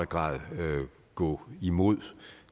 grad kan gå imod